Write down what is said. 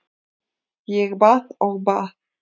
Ég bað og bað.